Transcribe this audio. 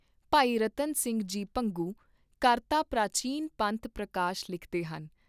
ਭਾਈ ਰਤਨ ਸਿੰਘ ਜੀ ਭੰਗੂ, ਕਰਤਾ ਪ੍ਰਾਚੀਨ ਪੰਥ ਪ੍ਰਕਾਸ਼ ਲਿਖਦੇ ਹਨ